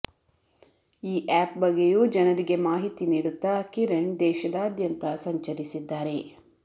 ಈ ಆ್ಯಪ್ ಬಗ್ಗೆಯೂ ಜನರಿಗೆ ಮಾಹಿತಿ ನೀಡುತ್ತಾ ಕಿರಣ್ ದೇಶದಾದ್ಯಂತ ಸಂಚರಿಸಿದ್ದಾರೆ